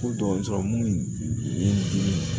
Ko dɔgɔtɔrɔ mun ye n dimi